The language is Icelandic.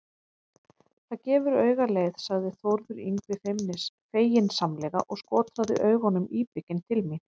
Það gefur auga leið, sagði Þórður Yngvi feginsamlega og skotraði augunum íbygginn til mín.